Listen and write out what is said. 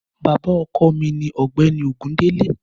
Bàbá ọkọ mi ní ọ̀gbẹ́ni Ògúndélé.